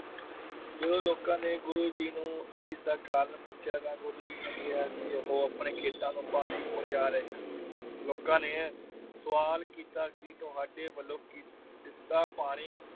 ਜਦੋਂ ਲੋਕਾਂ ਨੇ ਗੁਰੂ ਜੀ ਨੂੰ ਇਸ ਦਾ ਕਾਰਨ ਪੁੱਛਿਆ ਤਾ ਗੁਰੂ ਜੀ ਨੇ ਕਿਹਾ ਕਿ ਉਹ ਆਪਣੇ ਖੇਤਾਂ ਨੂੰ ਪਾਣੀ ਪਹੁੰਚਾ ਰਹੇ ਹਨ। ਲੋਕਾਂ ਨੇ ਸਵਾਲ ਕੀਤਾ ਕਿ ਤੁਹਾਡੇ ਵਲੋਂ ਕਿ ਦਿਤਾ ਪਾਣੀ